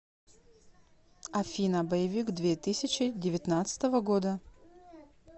афина боевик две тысячи девятнадцатого года